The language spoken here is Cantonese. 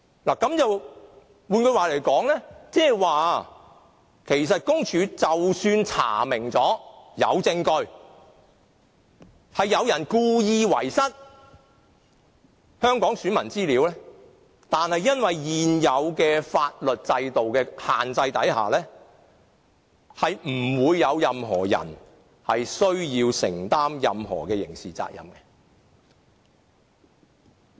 換言之，即使公署查明並有證據，有人故意遺失香港選民資料，但基於現行法律制度的規限下，不會有任何人需要承擔任何的刑事責任。